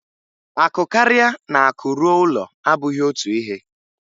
Akụ karịa na akụ ruo ụlọ abụghị otu ihe.